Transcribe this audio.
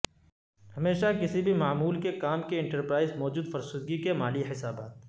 ہمیشہ کسی بھی معمول کے کام کے انٹرپرائز موجود فرسودگی کے مالی حسابات